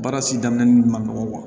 Baara si daminɛ ma nɔgɔ